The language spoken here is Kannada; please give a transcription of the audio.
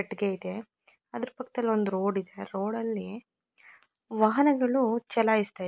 ಕಟ್ಟಿಗೆ ಇದೆ. ಅದರ ಪಕ್ಕದಲ್ಲಿ ಒಂದು ರೋಡ್ ಇದೆ ಆ ರೋಡ್ ಲ್ಲಿ ವಾಹನಗಳು ಚಲಾಯಿಸುತ್ತಾ--